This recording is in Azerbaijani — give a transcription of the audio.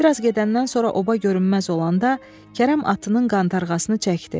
Bir az gedəndən sonra oba görünməz olanda Kərəm atının qantərğasını çəkdi.